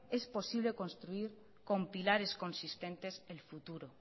es posible construir con pilares consistentes el futuro